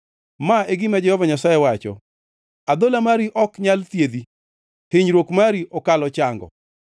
“Ma e gima Jehova Nyasaye wacho: “ ‘Adhola mari ok nyal thiedhi, hinyruok mari okalo chango.